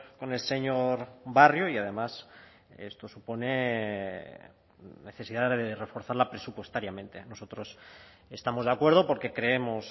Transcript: con el señor barrio y además esto supone necesidad de reforzarla presupuestariamente nosotros estamos de acuerdo porque creemos